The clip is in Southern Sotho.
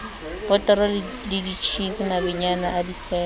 botoro le tjhisi mabejana difeme